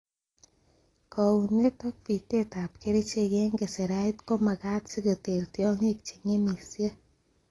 Kounet ak bitet ab kerichek en keserait komagat si koter tiong'ik che ng'emisie.